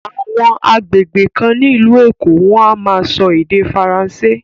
Àwọn àgbègbè kan ní ìlú Èkó wọ́n á máa sọ Ède Faransé.